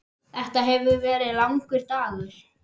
Þetta hefur verið langur dagur.